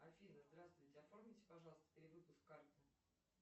афина здравствуйте оформите пожалуйста перевыпуск карты